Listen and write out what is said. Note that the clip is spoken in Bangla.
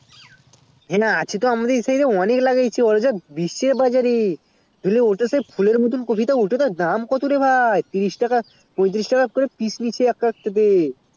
হে না আছে তো আমাদের দিকে ও অনেক লাগিয়েছে বা বিস্ছে বাজারে ধরলে ওটা তো ফুলের মতো কোপি ওটার দাম কত রে ভাই তিরিশ টাকা পঁয়ত্রিশ টাকা করে পিস নিচ্ছে একটা কোপি তে